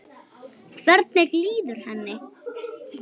Hvernig líður henni?